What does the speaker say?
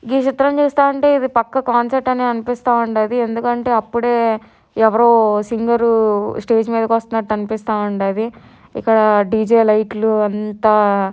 ఈ చిత్రం చూస్తా ఉంటె పక్క కాన్సెప్ట్ అని అనిపిస్త ఉండది ఎందుకంటే అప్పుడే ఎవరో సింగర్ స్టేజ్ మీదకి వస్తున్నట్టు అనిపిస్త ఉండది ఇక్కడ డి .జే లైట్స్ అంత--